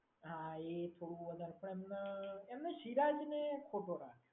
હા એ પણ એમને સિરાજને ખોટો રાખ્યો.